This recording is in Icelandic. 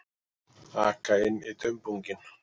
Aka inn í dumbunginn.